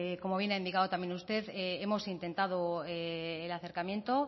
como bien ha indicado también usted hemos intentado el acercamiento